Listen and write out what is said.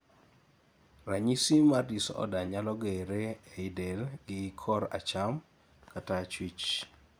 ranyisi mar disorder nyalo gere ei del gi kor acham kata achuich